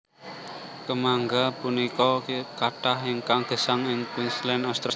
Kèmangga punika kathah ingkang gèsang ing Queensland Australia